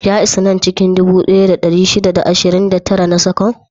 Ya isa nan cikin dubu ɗaya da ɗari shida da ashirin da tara na seconds?